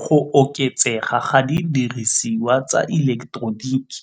Go oketsega ga didirisiwa tsa ileketeroniki